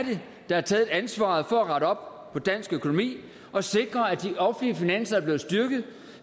der har taget ansvaret for at rette op på dansk økonomi og sikre at de offentlige finanser er blevet styrket